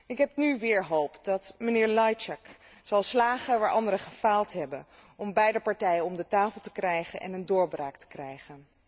Ik heb nu weer hoop dat mijnheer Lajčák zal slagen waar anderen gefaald hebben om beide partijen om de tafel te krijgen en een doorbraak te bewerkstelligen.